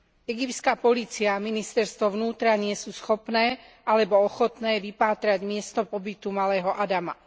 Egyptská polícia a ministerstvo vnútra nie sú schopné alebo ochotné vypátrať miesto pobytu malého Adama.